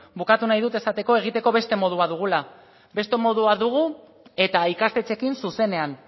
bukatu nahi dut esateko egiteko beste modu bat dugula beste modu bat dugu eta ikastetxeekin zuzenean